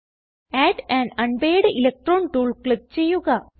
add un unpaired electron tool click ചെയ്യുക